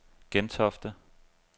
Gentofte